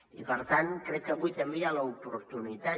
i per tant crec que avui també hi ha l’oportunitat